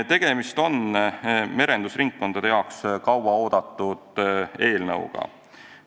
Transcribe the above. Tegemist on merendusringkondades kaua oodatud eelnõuga.